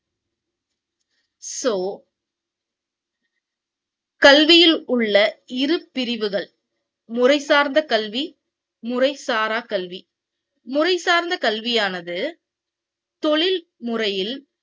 கல்வியிலுள்ள இரு பிரிவுகள் முறைசார்ந்த கல்வி முறை சாரா கல்வி முறை சார்ந்த கல்வியானது தொழில் முறையில்